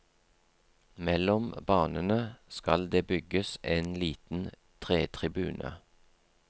Mellom banene skal det bygges en liten tretribune.